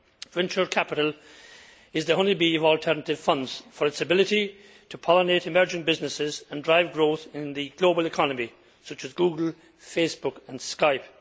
Venture capital is the honeybee of alternative funds owing to its ability to pollinate emerging businesses and drive growth in the global economy, as exemplified by Google, Facebook and Skype.